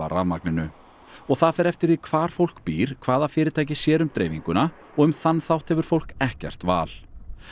rafmagninu og það fer eftir því hvar fólk býr hvaða fyrirtæki sér um dreifinguna og um þann þátt hefur fólk ekkert val